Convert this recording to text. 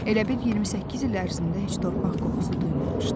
Elə bil 28 il ərzində heç torpaq qoxusu duymamışdı.